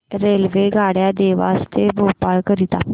रेल्वेगाड्या देवास ते भोपाळ करीता